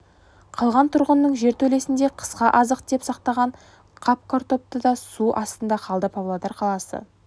қалған тұрғынның жертөлесінде қысқа азық деп сақтаған қап картобы да су астында қалды павлодар қаласы